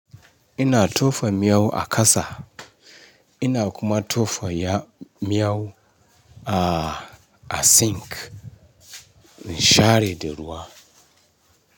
Ina tofa miyau a kasa, ina kuma tofa ya miyau a, a sink. Ni share de ruwa.